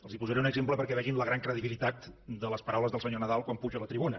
els posaré un exemple perquè vegin la gran credibilitat de les paraules del senyor nadal quan puja a la tribuna